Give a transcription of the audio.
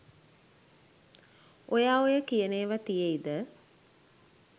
ඔයා ඔය කියන ඒව තියෙයිද?